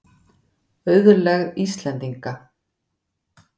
Auðlegð Íslendinga.